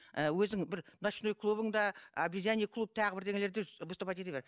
ііі өзің бір ночной клубыңда обезьяны клуб тағы бірдеңелерде выступать ете бер